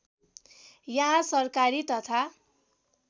यहाँ सरकारी तथा